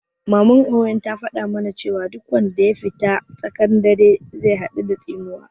Maman Owen ta faɗa ma na cewa duk wanda ya fita da tsaƙan dare zai haɗu da tsinuwa